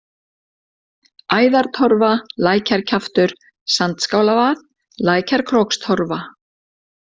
Æðartorfa, Lækjarkjaftur, Sandskálavað, Lækjarkrókstorfa